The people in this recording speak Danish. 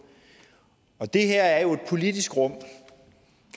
det her er jo et politisk rum